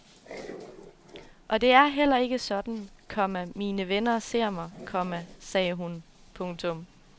Og det er heller ikke sådan, komma mine venner ser mig, komma sagde hun. punktum